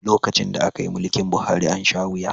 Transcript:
Lokacin da aka yi mulkin Buhari, an sha wuya